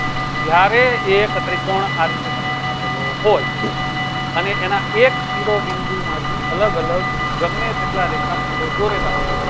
જ્યારે એક ત્રિકોણ આ રીતે તમને આપેલો હોય અને એના એક શિરોબિંદુમાંથી અલગ અલગ ગમે તેટલા રેખાખંડો દોરેલા હોય